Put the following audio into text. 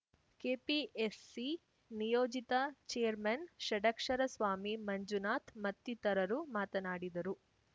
KPSC ನಿಯೋಜಿತ chairman Shadakshara Swami Manjunath ಮತ್ತಿತರರು ಮಾತನಾಡಿದರು